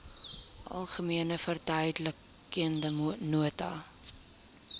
algemene verduidelikende nota